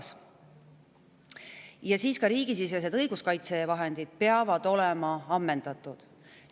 Siis peavad olema ka riigisisesed õiguskaitsevahendid ammendatud.